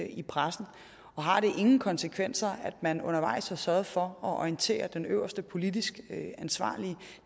i pressen har det ingen konsekvenser at man undervejs ikke har sørget for at orientere den øverste politisk ansvarlige